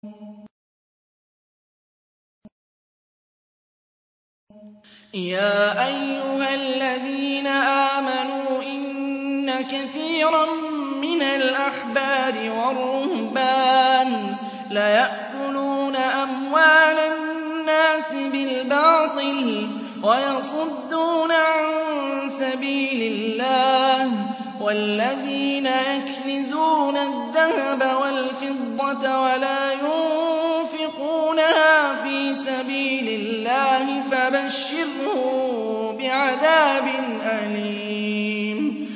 ۞ يَا أَيُّهَا الَّذِينَ آمَنُوا إِنَّ كَثِيرًا مِّنَ الْأَحْبَارِ وَالرُّهْبَانِ لَيَأْكُلُونَ أَمْوَالَ النَّاسِ بِالْبَاطِلِ وَيَصُدُّونَ عَن سَبِيلِ اللَّهِ ۗ وَالَّذِينَ يَكْنِزُونَ الذَّهَبَ وَالْفِضَّةَ وَلَا يُنفِقُونَهَا فِي سَبِيلِ اللَّهِ فَبَشِّرْهُم بِعَذَابٍ أَلِيمٍ